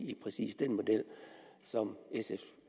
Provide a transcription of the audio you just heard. lige præcis den model som sfs